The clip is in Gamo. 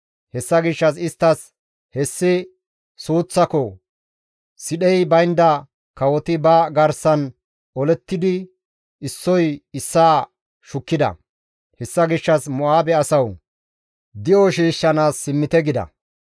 Hessa gishshas isttas, «Hessi suuththako! Sidhey baynda kawoti ba garsan olettidi issoy issaa shukkida; hessa gishshas Mo7aabe asawu! Di7o shiishshanaas simmite» gida.